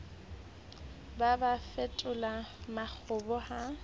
ba ba fetole makgoba ha